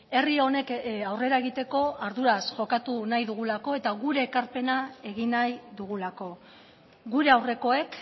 herri honek aurrera egiteko arduraz jokatu nahi dugulako eta gure ekarpena egin nahi dugulako gure aurrekoek